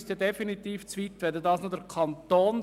Dies würde definitiv zu weit führen.